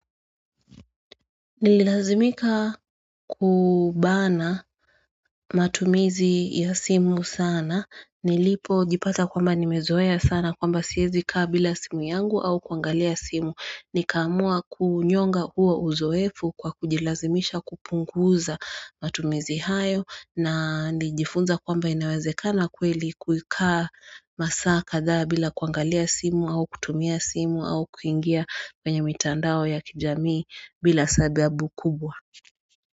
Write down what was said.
Nililazimika kubana matumizi ya simu sana Nilipo jipata kwamba nimezoea sana kwamba siezi kaa bila simu yangu au kuangalia simu Nikamua kunyonga huo uzoefu kwa kujilazimisha kupunguza matumizi hayo na nilijifunza kwamba inawezekana kweli kukaa masaa katha bila kuangalia simu au kutumia simu au kuingia kwenye mitandao ya kijamii bila sababu kubwa.